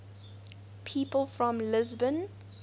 people from lisbon